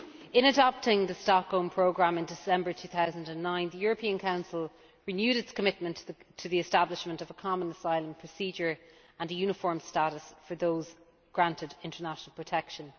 In adopting the Stockholm Programme in December 2009, the European Council renewed its commitment to the establishment of a common asylum procedure and a uniform status for those granted international protection.